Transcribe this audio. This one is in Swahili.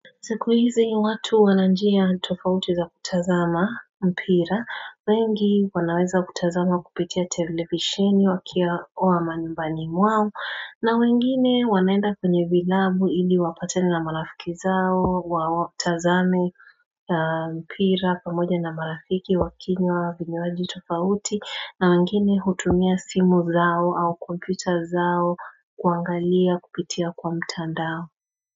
Siku hizi watu wana njia tofauti za kutazama mpira, wengi wanaweza kutazama kupitia televisheni wakiwa manyumbani mwao na wengine wanaenda kwenye vilabu ili wapateni na marafiki zao, waktazame mpira pamoja na marafiki wakinywa vinywanji tofauti na wengine hutumia simu zao au komputa zao kuangalia kupitia kwa mtandao.